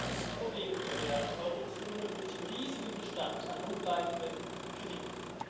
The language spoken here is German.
Wir haben ein großes Problem in der Eurozone durch den riesigen Bestand an notleidenden Krediten.